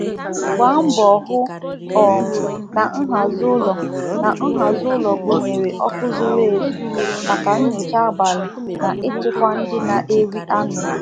Jide n'aka na ihe owuwu ụlọ gụnyere ọkụ zuru ezu maka nnọchite abalị na ichekwa pụọ n'aka anụ ọhịa.